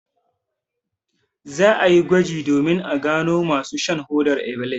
Za a yi gwaji domin a gano masu shan hodar ibilis.